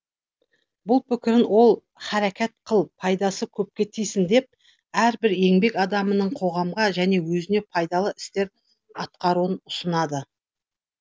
бұл пікірін ол харакәт қыл пайдасы көпке тисін деп әрбір еңбек адамының қоғамға және өзіне пайдалы істер атқаруын ұсынады